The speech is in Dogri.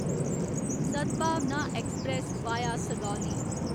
Sadbhavna express via Sugauli